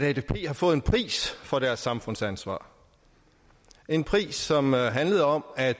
at atp har fået en pris for deres samfundsansvar en pris som handlede om at